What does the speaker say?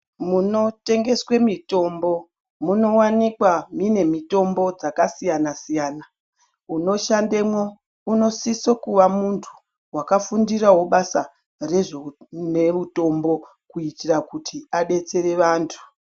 Muno tengeswe mitombo muno wanikwa mine mitombo dzaka siyana siyana uno shandemwo uno siso kuva muntu waka fundirawo basa rezve une utombo kuitira kuti adetsere vantu.